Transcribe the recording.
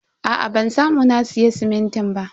Aa ban samu na siya simintin ba.